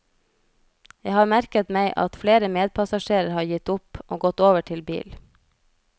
Jeg har merket meg at flere medpassasjerer har gitt opp, og gått over til bil.